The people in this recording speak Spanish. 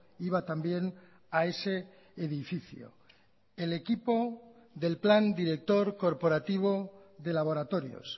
iba también a ese edificio el equipo del plan director corporativo de laboratorios